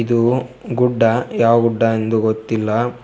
ಇದು ಗುಡ್ಡ ಯಾವ್ ಗುಡ್ಡ ಎಂದು ಗೊತ್ತಿಲ್ಲ.